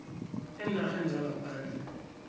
eenarheni zangaphandle